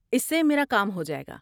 اس سے میرا کام ہو جائے گا۔